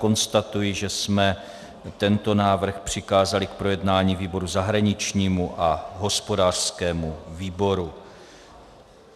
Konstatuji, že jsme tento návrh přikázali k projednání výboru zahraničnímu a hospodářskému výboru.